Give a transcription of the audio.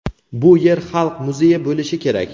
Bu yer xalq muzeyi bo‘lishi kerak.